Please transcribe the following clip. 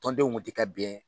Tɔndenw kun tɛ ka bɛn